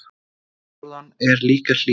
Fyrir norðan er líka hlýtt.